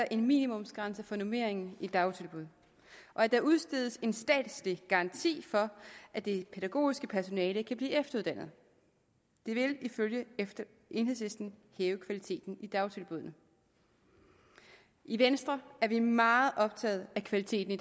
en minimumsgrænse for normeringen i dagtilbud og at der udstedes en statslig garanti for at det pædagogiske personale kan blive efteruddannet det vil ifølge enhedslisten hæve kvaliteten i dagtilbuddene i venstre er meget optaget af kvaliteten i